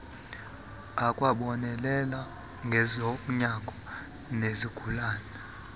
akwabonelela ngezonyango nezigulane